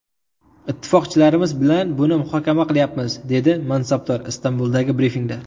Ittifoqchilarimiz bilan buni muhokama qilayapmiz”, dedi mansabdor Istanbuldagi brifingda.